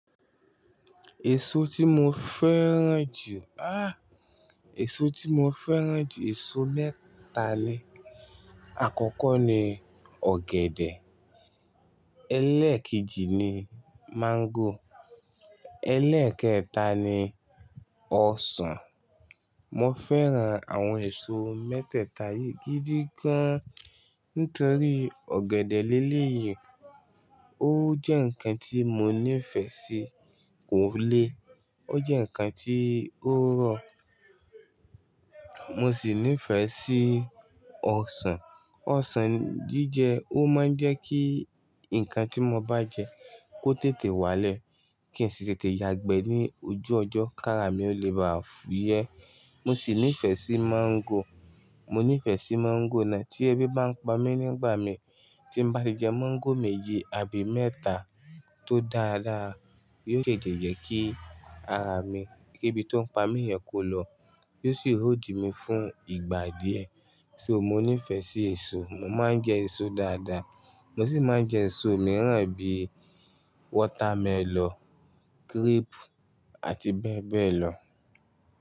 Èso tí mo fẹ́ràn jù, ah, èso tí mo fẹ́ràn jù, èso mẹ́ta ni. Àkọ́kọ́ ni ọ̀gẹ̀dẹ̀, ẹlẹ́ẹ̀kejì ni máńgò, ẹlẹ́ẹ̀kẹta ni ọsàn. Mo fẹ́ràn àwọn èso mẹ́tẹ́ẹ̀ta yìí gidi gan, nítorí ọ̀gẹ̀dẹ̀ léleyìí, ó jẹ́ ǹkan tí mo nífẹ̀ẹ́ sí kò lé, ó jẹ́ ǹkan tí ó rọ̀. Mo sì nífẹ̀ẹ́ sí ọsàn. Ọsàn jíjẹ, ó máa ń jẹ́ kí ǹkan tí mo bá jẹ kó tètè wálẹ̀ kí n sì tètè yagbe ní ojú ọjọ́, kára mi o leè ba fúyẹ́. Mo sì nífẹ̀ẹ́ sí máńgò. Mo nífẹ̀ẹ́ sí máńgò náà tí ẹbí bá ń pa mí nígbà mi. Tí mo bá ti jẹ máńgò méji àbí mẹ́ta tó dáda, yiò tete jẹ kí ara mi, kí ebi tó ń pa mí yẹn kó lọ, yiò sì hóldi mi fún ìgbà díẹ̀. So mo nífẹ̀ẹ́ sí èso. Mo máa ń jẹ èso dáadáa. Mo sì máa ń jẹ èso mìíràn bíi wọ́támẹlọ̀, grape àti bẹ́ẹ̀ bẹ́ẹ̀ lọ.